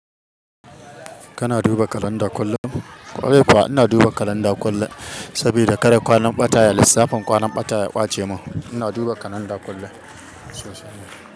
Kana duba kalanda kullum? Kwarai kuwa ina duba kalanda kullum saboda kada kwanan ɓataya lissafin kwanan ɓataya ya ɓace mun ina duba kalanda kullum.